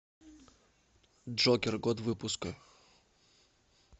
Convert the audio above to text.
джокер год выпуска